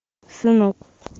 сынок